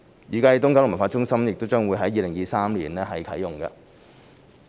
預計東九文化中心將於2023年啟用。